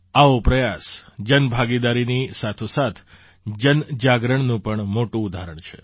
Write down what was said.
આવો પ્રયાસ જનભાગીદારીની સાથોસાથ જનજાગરણનું પણ મોટું ઉદાહરણ છે